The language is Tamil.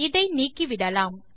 இதை நீக்கிவிடலாம்